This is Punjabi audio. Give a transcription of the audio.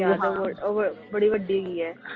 ਉਹ ਉਹ ਬੜੀ ਵੱਡੀ ਹੈਗੀ ਹੈ।